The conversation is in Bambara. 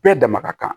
Bɛɛ dama ka kan